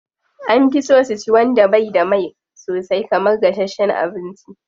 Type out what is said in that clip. An fi so su ci wanda bai da mai sosai kamar gashasshen abinci.